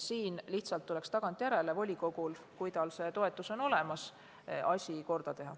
Siin tuleks lihtsalt volikogul, kui tal toetus on olemas, tagantjärele asi korda teha.